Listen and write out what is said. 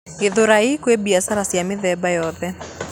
Gĩthũrai kwĩ mbiacara cia mĩthemba yoothe